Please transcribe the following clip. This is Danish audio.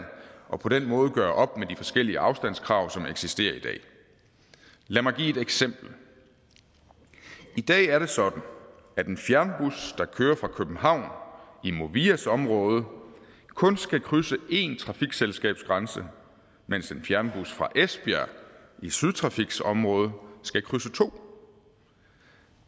og på den måde gøre op med de forskellige afstandskrav som eksisterer i dag lad mig give et eksempel i dag er det sådan at en fjernbus der kører fra københavn i movias område kun skal krydse en trafikselskabsgrænse mens en fjernbus fra esbjerg i sydtrafiks område skal krydse to